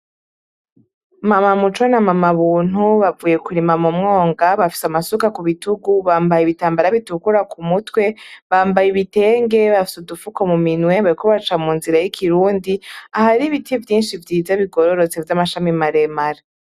Mama muco na mama buntu bavuye kurima mumwonga bafise amasuka kubitugu, bambaye ibitambara bitukura kumutwe, bambaye ibitenge, bafise udufuko muminwe, bariko baca munzira y' ikirundi ahari ibiti vyinshi bigororotse vy' amashami mare mare.